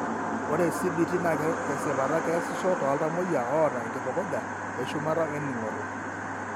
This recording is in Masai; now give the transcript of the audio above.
Ore CBT naa tesipata keesisho tooltamuoyia oota enkitukuja eshumata oening'oto.